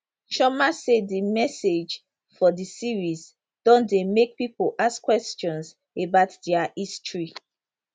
chioma say di message for di series don dey make pipo ask questions about dia history